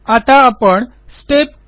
आता आपण स्टेप 2